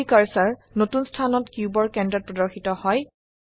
3ডি কাৰ্সাৰ নতুন স্থানত কিউবৰ কেন্দ্ৰত প্ৰদৰ্শিত হয়